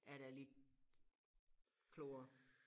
Er der lidt klogere